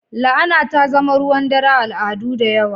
La'ana ta zama ruwan dare a al'adu da yawa.